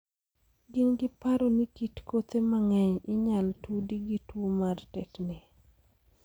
Gin gi paro ni kit kothe mang'eny inyal tudi gi tuo mar tetni ni.